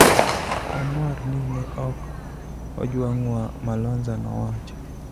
Wamor ni ne ok ojwang'wa, " Malonza nowacho.